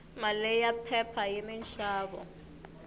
mali ya phepha yini nxavo